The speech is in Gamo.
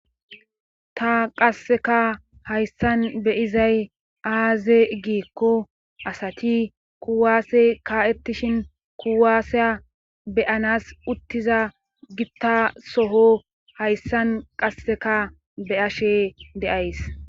ta qasseka hayssan be7izay aaze giikko asati kuwaase kaa7ettishin kuwaasiya be7anas uttiza gitta soho hayssan qasseka be7ashe de7ays.